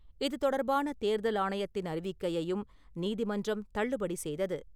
இதுதொடர்பான தேர்தல் ஆணையத்தின் அறிவிக்கையையும் நீதிமன்றம் தள்ளுபடி செய்தது .